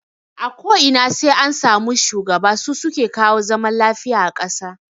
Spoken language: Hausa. A ko ina sai an sami shugaba, su suke kawo zaman lafiya a kasa